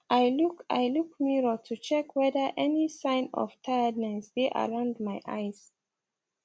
i look i look mirror to check whether any sign of tiredness dae around my eyes